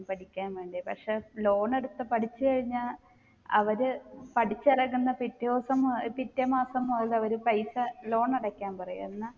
പഠിക്കാൻ വേണ്ടി പക്ഷെ loan എടുത്ത് പഠിച്ച് കഴിഞ്ഞാ അവർ പഠിച്ചിറങ്ങുന്ന പിറ്റെ ദിവസ ഏർ പിറ്റേ മാസം മുതൽ അവർ പൈസ loan അടക്കാൻ പറയും എന്നാ